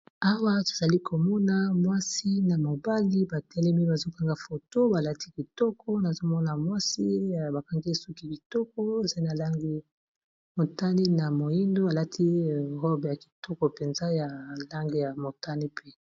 awa tozali komona mwasi na mobali batelemi bazokanga foto balati kitoko nazomona mwasi y bakangi soki bitoko zai na lange motani na moindo balati robe ya kitoko mpenza ya lange ya motani pe